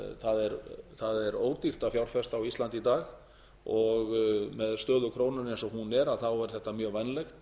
er ódýrt að fjárfesta á íslandi í dag og með stöðu krónunnar eins og hún er þá er þetta mjög vænlegt